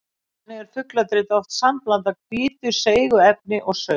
Þannig er fugladrit oft sambland af hvítu seigu efni og saur.